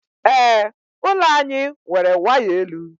Ee, ụlọ anyị nwere waya elu.